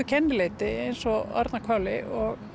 kennileiti eins og Arnarhvoli